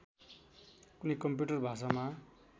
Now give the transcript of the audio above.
कुनै कम्प्युटर भाषामा